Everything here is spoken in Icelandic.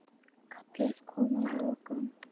Kallið kom að lokum.